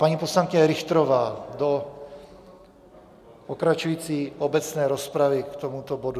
Paní poslankyně Richterová do pokračující obecné rozpravy k tomuto bodu.